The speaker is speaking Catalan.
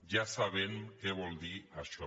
ja sabem què vol dir això